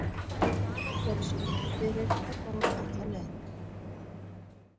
Danir gerðu sér síðan lítið fyrir og fóru alla leið.